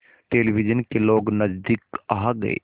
television के लोग नज़दीक आ गए